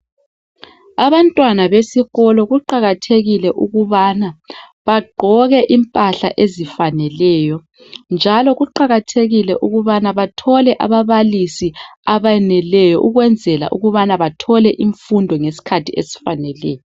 Abantwana besikolo kuqakathekile ukubana bagqoke impahla ezifaneleyo. Njalo kuqakathekile ukubana bathole ababalisi abeneleyo ukwenzela ukubana bathole imfundo ngeskhathi esifaneleyo.